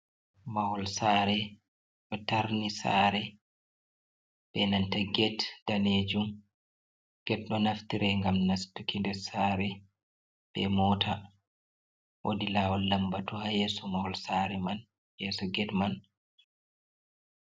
Mahol saare ɗo tarni saare be nanta get daneejum. Get ɗo naftira, ngam nastuki nder saare be moota. Woodi laawol lambatu, haa yeeso mahol saare man yeeso get man.